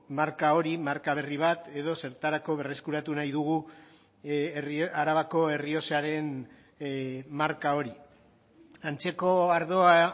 marka hori marka berri bat edo zertarako berreskuratu nahi dugu arabako errioxaren marka hori antzeko ardoa